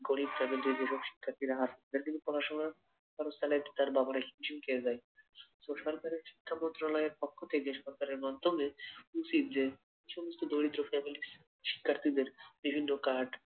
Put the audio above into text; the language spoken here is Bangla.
গরিব family যেসব শিক্ষার্থীরা আছে তাদের পড়াশোনা খরচ চালাইতে তার বাবারা হিমশিম খেয়ে যায়, সরকারের শিক্ষামন্ত্রণালয়ের পক্ষ থেকে সরকারের মাধ্যমে উচিৎ যে এ সমস্ত দরিদ্র family শিক্ষার্থীদের বিভিন্ন কার্ড